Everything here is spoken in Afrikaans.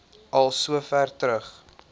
al sover terug